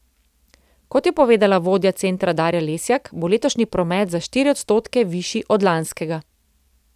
Kot je povedala vodja centra Darja Lesjak, bo letošnji promet za štiri odstotke višji od lanskega.